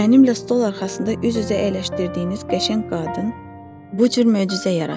Mənimlə stol arxasında üz-üzə əyləşdirdiyiniz qəşəng qadın bu cür möcüzə yaratdı.